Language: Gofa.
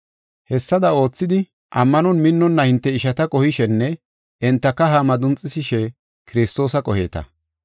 Hessada oothidi, ammanon minnonna hinte ishata qohishenne enta kaha madunxisishe Kiristoosa qoheeta.